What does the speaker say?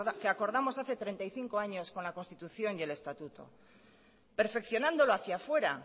que acordamos hace treinta y cinco años con la constitución y el estatuto perfeccionándolo hacía fuera